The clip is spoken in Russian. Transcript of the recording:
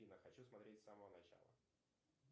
афина хочу смотреть с самого начала